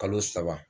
Kalo saba